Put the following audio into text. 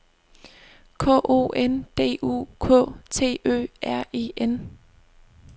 K O N D U K T Ø R E N